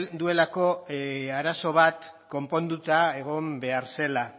duelako arazo bat konponduta egon behar zela